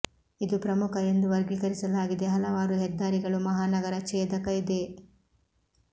ಇದು ಪ್ರಮುಖ ಎಂದು ವರ್ಗೀಕರಿಸಲಾಗಿದೆ ಹಲವಾರು ಹೆದ್ದಾರಿಗಳು ಮಹಾನಗರ ಛೇದಕ ಇದೆ